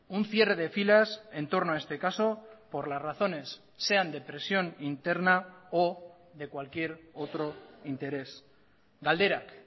un cierre de filas entorno a este caso por las razones sean de presión interna o de cualquier otro interés galderak